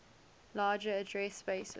larger address spaces